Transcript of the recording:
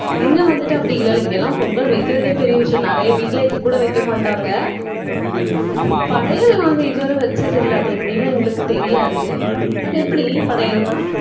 இங்க வந்துட்டு, அப்படி இல்லை, இல்லை. இங்கெல்லாம், பொங்கல் வைக்கிறதே பெரிய விஷயம். நிறைய வீட்டுல இது கூட வைக்க மாட்டாங்க படையல் நாங்க இதுவரை வச்சதில்லை. அது எப்படின்னு எங்களுக்கு தெரியாது. அது எப்படி படையல்னா